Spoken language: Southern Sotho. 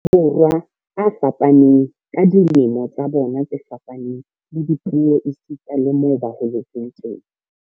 Borwa a fapaneng, ka dilemo tsa bona tse fapaneng, le dipuo esita le moo ba holetseng teng.